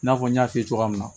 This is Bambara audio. I n'a fɔ n y'a f'i ye cogoya min na